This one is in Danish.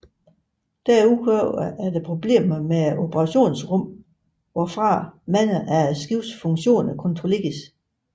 Derudover er der problemer med operationsrummet hvorfra mange af skibet funktioner kontrolleres